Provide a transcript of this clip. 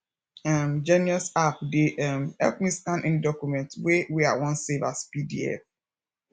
um genius app dey um help me scan any document wey wey i wan save as pdf